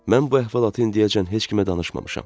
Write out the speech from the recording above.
Mən bu əhvalatı indiyəcən heç kimə danışmamışam.